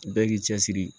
Bɛɛ k'i cɛsiri